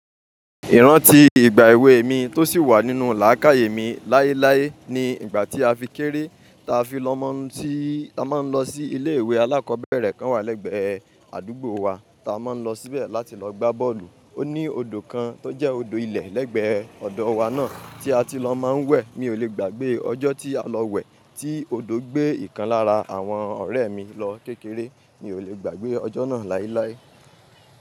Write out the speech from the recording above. Ìrántí ìgbà èwe mi tó sì wà nínú làákàyè mi láéláé ni ìgbà tí a fi kéré ta fi lọ́ máa ń, ií ta máa ń lọ sí ilé ìwé alákọ̀ọ́bẹ̀rẹ̀ kan wà lẹ́gbẹ̀ẹ́ àdúgbò wa ta máa ń lọ síbẹ̀ láti lọ gbá bọ́ọ̀lù. Ó ní odò kan tó jẹ́ odò ilẹ̀ lẹ́gbẹ̀ẹ́ ọ̀dọ wa náà tí a ti lọ máa ń wẹ̀. Mi ò lè gbàgbé ọjọ́ tí a lọ wẹ̀ tí odò gbé ìkan lára àwọn ọ̀rẹ́ mi lọ kékeré. Mi ò lè gbàgbé ọjọ́ náà láéláé.